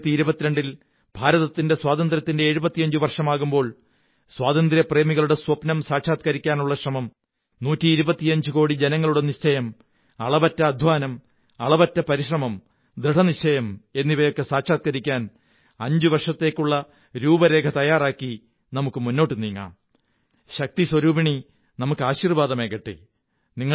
2022 ൽ ഇന്ത്യയുടെ സ്വാതന്ത്ര്യത്തിന്റെ 75 വര്ഷേമാകുമ്പോൾ സ്വാതന്ത്ര്യപ്രേമികളുടെ സ്വപ്നം സാക്ഷാത്കരിക്കാനുള്ള ശ്രമം നൂറ്റി ഇരുപത്തിയഞ്ചുകോടി ജനങ്ങളുടെ നിശ്ചയം അളവറ്റ അധ്വാനം അളവറ്റ പരിശ്രമം ദൃഢനിശ്ചയം എന്നിവയൊക്കെ സാക്ഷാത്കരിക്കാൻ അഞ്ചുവര്ഷിത്തേക്കുള്ള രൂപരേഖ തയ്യാറാക്കി നമുക്കു മുന്നോട്ടു നീങ്ങാം ശക്തിസ്വരൂപിണി നമുക്ക് ആശീര്വ്വാ ദമേകട്ടെ